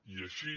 i així